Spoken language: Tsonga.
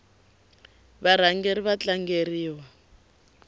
varhangeri va tlangeriwa